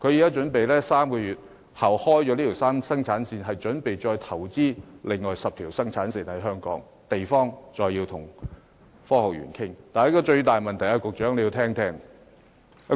該公司於3個月後開啟生產線後，準備在香港再投資另外10條生產線，用地則要再跟大埔科學園商討。